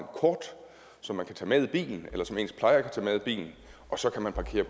kort som man kan tage med i bilen eller som ens plejere kan tage med i bilen og så kan man parkere